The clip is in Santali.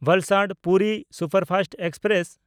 Valsad-Puri superfast express